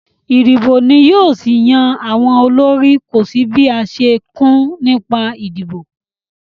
Ìdìbò ni yóò ṣì yan àwọn olórí, kò sí bí a ṣe kùn nípa ìdìbò